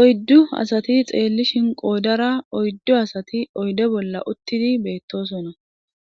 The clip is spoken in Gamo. oyddu asati xeellishin qoodara oyddu asati oyde bolla uttidi beettosona